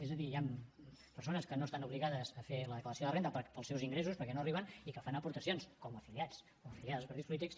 és a dir hi han persones que no estan obligades a fer la declaració de renda pels seus ingressos perquè no arriben i que fan aportacions com a afiliats o afiliades a partits polítics